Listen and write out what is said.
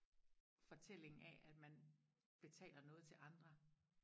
fortællingen af at man betaler noget til andre